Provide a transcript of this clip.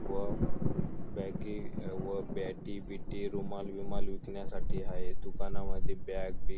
व बॅगी व बॅटी बीटी रुमाल बिमाल विकण्यासाठी हाये दुकानांमध्ये बॅग बिग--